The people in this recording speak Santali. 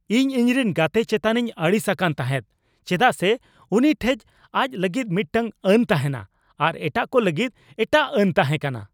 ᱤᱧ ᱤᱧᱨᱮᱱ ᱜᱟᱛᱮ ᱪᱮᱛᱟᱱᱤᱧ ᱟᱹᱲᱤᱥ ᱟᱠᱟᱱ ᱛᱟᱦᱮᱸᱜ ᱪᱮᱫᱟᱜ ᱥᱮ ᱩᱱᱤ ᱴᱷᱮᱱ ᱟᱡᱽ ᱞᱟᱹᱜᱤᱫ ᱢᱤᱫᱴᱟᱝ ᱟᱹᱱ ᱛᱟᱦᱮᱸᱠᱟᱱᱟ ᱟᱨ ᱮᱴᱟᱜ ᱠᱚ ᱞᱟᱹᱜᱤᱫ ᱮᱴᱟᱜ ᱟᱹᱱ ᱛᱟᱦᱮᱸ ᱠᱟᱱᱟ ᱾